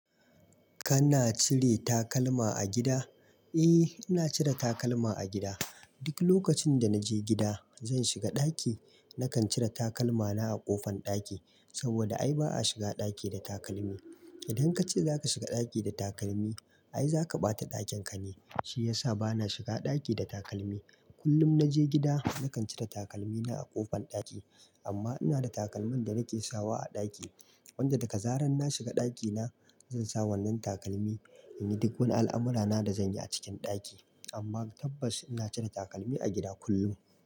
Kana cire takalma a gida? Eh, ina cire takalma a gida. Duk lokacin da na je gida, zan shiga ɗaki, na kan cire takalmana a ƙofan ɗaki. Saboda ai ba a shiga ɗaki da takalmi. Idan ka ce za ka shiga ɗaki da takalmi, ai za ka ɓata ɗakin ka ne. Shi ya sa ba na shiga ɗaki da takalmi. Kullum na je gida, na kan cire takalmi na a ƙofan ɗaki. Amma ina da takalman da na ke sawa a ɗaki. Wanda daga zarar na shiga ɗakina, zan sa wannan takalmi in yi duk wani al'amurana da zan yi a cikin ɗaki. Amma tabbas ina cire takalmi a gida kullum.